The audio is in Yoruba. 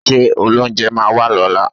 Ṣé olóunjẹ máa wá lọ́la?